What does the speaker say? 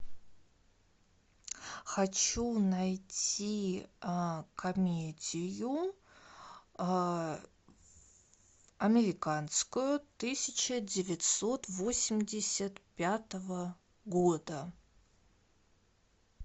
хочу найти комедию американскую тысяча девятьсот восемьдесят пятого года